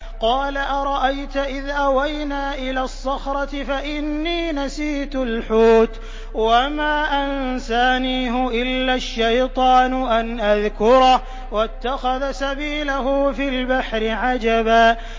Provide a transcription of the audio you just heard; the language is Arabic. قَالَ أَرَأَيْتَ إِذْ أَوَيْنَا إِلَى الصَّخْرَةِ فَإِنِّي نَسِيتُ الْحُوتَ وَمَا أَنسَانِيهُ إِلَّا الشَّيْطَانُ أَنْ أَذْكُرَهُ ۚ وَاتَّخَذَ سَبِيلَهُ فِي الْبَحْرِ عَجَبًا